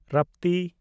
ᱨᱟᱯᱛᱤ